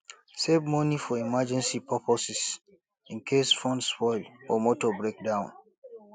save money for emergency purposes incase phone spoil or motor break down